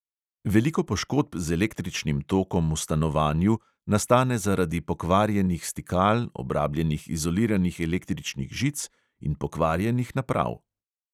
Veliko poškodb z električnim tokom v stanovanju nastane zaradi pokvarjenih stikal, obrabljenih izoliranih električnih žic in pokvarjenih naprav.